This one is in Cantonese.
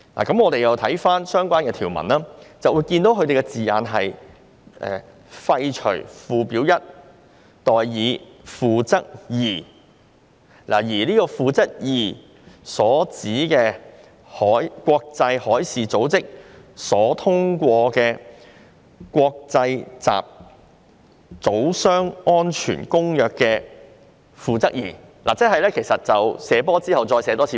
當我們翻查上述條文時，發現條文措辭是"廢除'附表 1'"，" 代以'《附則 II》'"，而《附則 II》所指的，便是國際海事組織所通過的《公約》的《附則 II》，即"射波"再"射波"。